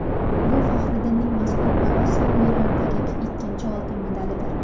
Bu Faxriddinning mazkur ParaOsiyo o‘yinlaridagi ikkinchi oltin medalidir.